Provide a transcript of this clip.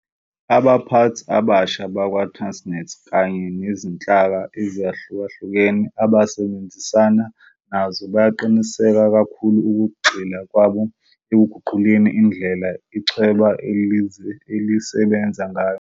Abaphathi abasha bakwa-Transnet kanye nezinhlaka ezahlukahlukene abasebenzisana nazo bayaqinisa kakhulu ukugxila kwabo ekuguquleni indlela ichweba elisebenza ngayo.